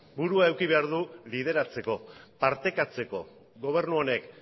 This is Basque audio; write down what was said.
burua izan behar du lideratzeko partekatzeko gobernu honek